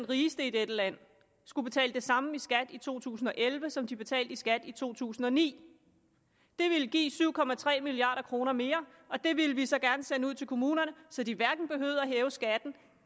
rigeste i dette land skulle betale det samme i skat i to tusind og elleve som de betalte i skat i to tusind og ni det ville give syv milliard kroner mere og dem ville vi så gerne sende ud til kommunerne så de hverken behøvede at hæve skatten